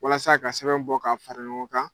Walasa ka sɛbɛn bɔ ka fara ɲɔgɔn kan.